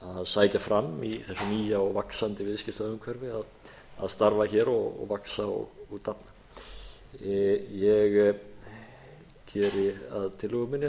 sækja fram í þessu nýja og vaxandi viðskiptaumhverfi að starfa hér og vaxa og dafna ég geri að tillögu minni að